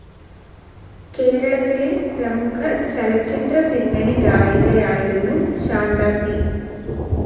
കേരളത്തിലെ പ്രമുഖ ചലച്ചിത്ര പിന്നണിഗായികയായിരുന്നു ശാന്ത പി.